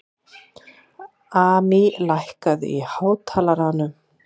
Amý, lækkaðu í hátalaranum.